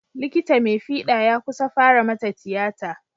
Likita mai fiɗa ya kusa fara mata tiyata.